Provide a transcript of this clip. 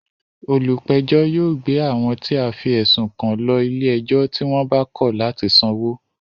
Olùpẹ̀jọ́ yóò gbé àwọn tí a fí ẹ̀sùn kan lọ ilé ẹjọ́ tí wọ́n bá kọ̀ látì sanwó